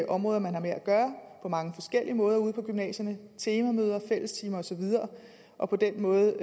områder man har med at gøre på mange forskellige måder ude på gymnasierne temamøder fællestimer og så videre og på den måde